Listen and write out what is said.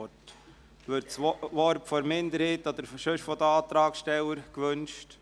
– Wird das Wort von der Minderheit oder den sonstigen Antragsstellern gewünscht?